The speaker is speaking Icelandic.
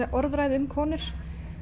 um konur